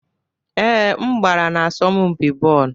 Ee, m gbara n'asọmpi bọọlụ.